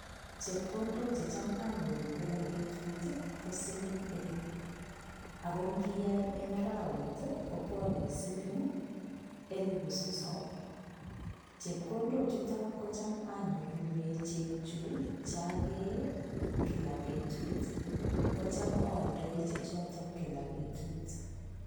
Chepkondok che cham anyoru kila petut, ko siling elepu ako nkiai eng arawet, kopwone siling elepu sosom. Chepkondochuto kocham anyorune chekchu, chakee kila petut. Kocham aaldoi chechoto kila petut.